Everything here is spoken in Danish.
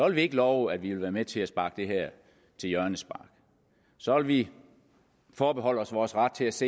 ikke love at vi vil være med til at sparke det her til hjørne så så vil vi forbeholde os vores ret til at se